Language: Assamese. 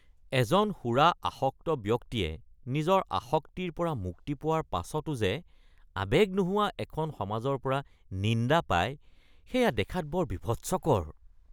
এজন সুৰা আসক্ত ব্যক্তিয়ে নিজৰ আসক্তিৰ পৰা মুক্তি পোৱাৰ পাছতো যে আৱেগ নোহোৱা এখন সমাজৰ পৰা নিন্দা পাই সেয়া দেখাত বৰ বীভৎসকৰ।